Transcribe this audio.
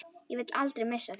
Ég vil aldrei missa þig.